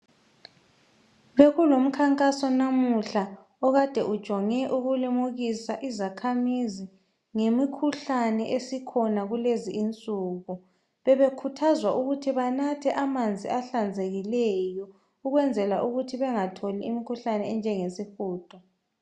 Bekulomkhankaso namuhla okade ujonge ukulimukisa ngemikhuhlane esikhona kulezi insuku. Bebakhuthaza abantu ukuthi banathe amanzi ahlanzekileyo ukwenzela ukuthi bengatholi imkhuhlane enjengesihudo.